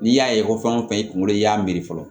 N'i y'a ye ko fɛn o fɛn i kunkolo i y'a miiri fɔlɔ